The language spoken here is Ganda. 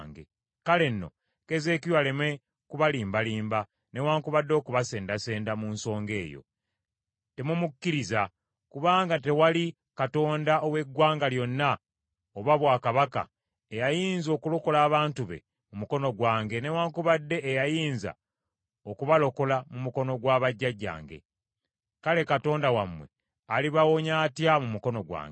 Kale nno, Keezeekiya aleme kubalimbalimba newaakubadde okubasendasenda mu nsonga eyo. Temumukkiriza, kubanga tewali katonda ow’eggwanga lyonna oba bwakabaka, eyayinza okulokola abantu be mu mukono gwange newaakubadde eyayinza okubalokola mu mukono gwa bajjajjange. Kale Katonda wammwe alibawonya atya mu mukono gwange?’ ”